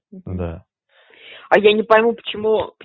да а я не пойму почему